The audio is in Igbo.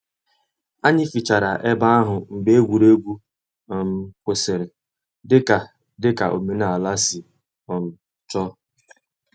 Anyị fichara ebe ahụ mgbe egwuregwu um kwụsịrị, dị ka dị ka omenala si um chọọ